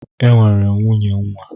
E nwere m nwunye nwa.